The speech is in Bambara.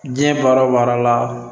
Diɲɛ baara o baara la